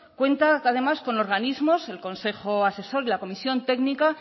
cuenta además con organismos el consejo asesor y la comisión técnica